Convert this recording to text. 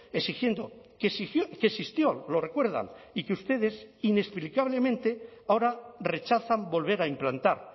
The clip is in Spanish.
exigiendo que existió lo recuerdan y que ustedes inexplicablemente ahora rechazan volver a implantar